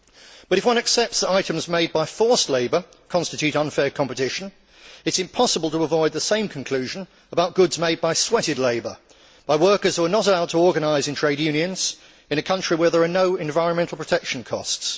But, if one accepts that items made by forced labour constitute unfair competition, it is impossible to avoid the same conclusion about goods made by sweated labour, by workers who are not allowed to organise into trade unions in a country where there are no environmental protection costs.